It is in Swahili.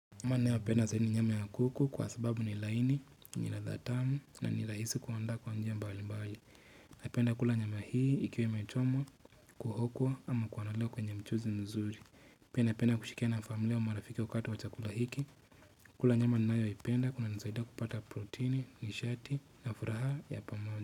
Nyama ninayopenda zaidi ni nyama ya kuku kwasababu ni laini, nialadha tamu na nirahisi kuunda kwa njia mbali mbali. Napenda kula nyama hii ikiwa imechomwa, kuhokwa ama kuanaliwa kwenye mchuzi mzuri. Pia napenda kushikia na familia wa marafiki wakati wa chakula hiki. Kula nyama ninayoipenda kunanisaida kupata protini, nishati na furaha ya pamoja.